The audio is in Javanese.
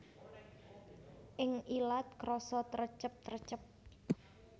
Ing ilat krasa trecep trecep